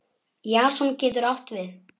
Jason getur átt við